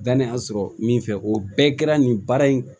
Dannanya sɔrɔ min fɛ o bɛɛ kɛra nin baara in